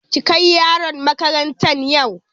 Ki kai yaronki makarantan yau!